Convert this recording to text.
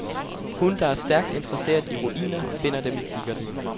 Hun, der er stærkt interesseret i ruiner, finder dem i kikkerten.